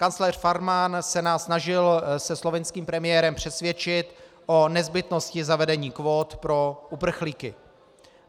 Kancléř Faymann se nás snažil se slovinským premiérem přesvědčit o nezbytnosti zavedení kvót pro uprchlíky.